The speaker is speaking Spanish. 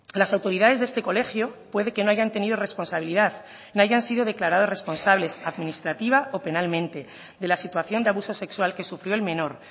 las autoridades de este colegio puede que no hayan tenido responsabilidad no hayan sido declarados responsables administrativa o penalmente de la situación de abuso sexual que sufrió el menor